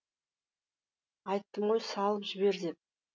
айттым ғой салып жібер деп